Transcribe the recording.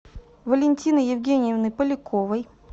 валентины евгеньевны поляковой